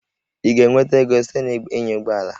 Ị ga-enweta ego site na ịnya ụgbọ ala?